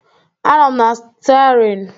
Anọ m na stiaring